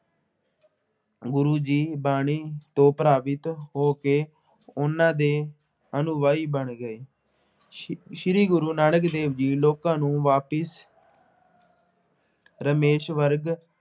ਗੁਰੂ ਜੀ ਬਾਣੀ ਤੋਂ ਪ੍ਰਭਾਵਿਤ ਹੋ ਕੇ ਉਹਨਾ ਦੇ ਅਨੁਵਾਈ ਬਣ ਗਏ। ਸ਼੍ਰੀ ਗੁਰੂ ਨਾਨਕ ਦੇਵ ਜੀ ਲੋਕਾਂ ਨੂੰ ਵਾਪਸ ਰਮੇਸ਼ਵਰਗ